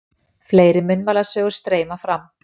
Fleiri munnmælasögur streyma fram.